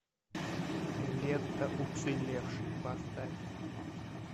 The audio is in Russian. лента уцелевший поставь